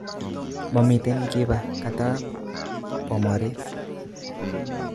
Momiten kiba katab bomorit